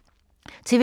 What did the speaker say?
TV 2